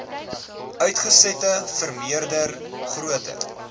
uitsette vermeerder groter